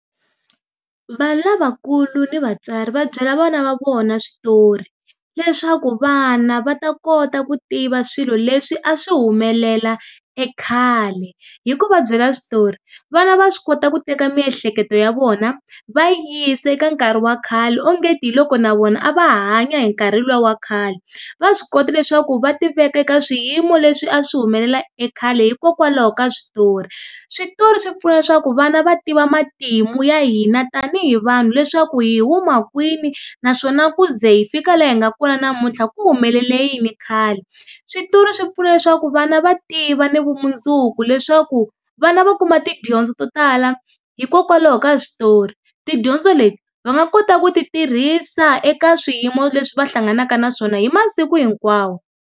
Vanhu lavakulu ni vatswari va byela vana va vona switori, leswaku vana va ta kota ku tiva swilo leswi a swi humelela ekhale. Hi ku va byela switori, vana va swi kota ku teka miehleketo ya vona, va yi yisa eka nkarhi wa khale ongeti hi loko na vona a va hanya hi nkarhi luwa wa khale. Va swi kota leswaku va tiveka eka swiyimo leswi a swi humelela ekhale hikokwalaho ka switori. Switori swi pfuna leswaku vana va tiva matimu ya hina tanihi vanhu leswaku hi huma kwini? Naswona ku ze hi fika laha hi nga kona namuntlha ku humelele yini khale? Switori swi pfuna leswaku vana va tiva ni vumundzuku leswaku, vana va kuma tidyondzo to tala hikokwalaho ka switori. Tidyondzo leti, va nga kota ku tirhisa eka swiyimo leswi va hlanganaka na swona hi masiku hinkwawo.